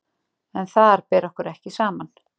En þar ber okkur ekki saman.